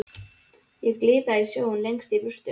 Ég sé glitta í sjóinn lengst í burtu.